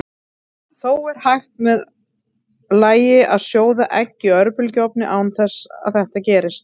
Þó er hægt með lagi að sjóða egg í örbylgjuofni án þess að þetta gerist.